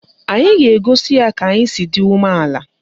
Anyị a ga-egosi ya ka anyị si dị umeala?